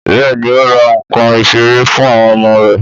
Bẹ́ẹ̀ni ó ra nkan ìṣeré fún àwọn ọmọ rè